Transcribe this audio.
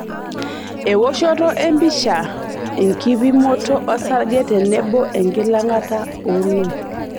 Ewoshoto empicha, enkipimoto osarge tenebo enkilang'ata ooloik.